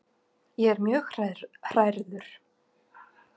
Ég er mjög hrærður.